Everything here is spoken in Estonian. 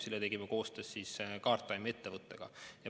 Selle tegime koostöös ettevõttega Guardtime.